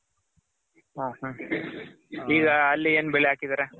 okay. ಈಗ ಅಲ್ಲಿ ಏನ್ ಬೆಳೆ ಹಾಕಿದಿರ